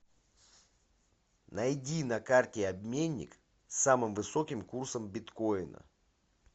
найди на карте обменник с самым высоким курсом биткоина